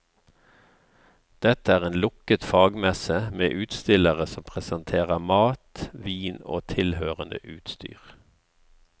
Dette er en lukket fagmesse med utstillere som presenterer mat, vin og tilhørende utstyr.